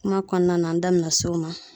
Kuma kɔnɔna na, an da be na s'o ma.